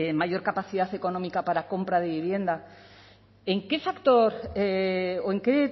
mayor capacidad económica para compra de vivienda en qué factor o en qué